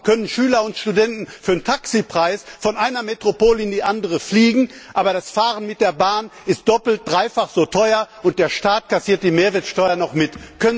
Warum können Schüler und Studenten für einen Taxipreis von einer Metropole in die andere fliegen, aber das Fahren mit der Bahn ist doppelt bis dreifach so teuer, und der Staat kassiert die Mehrwertsteuer noch mit?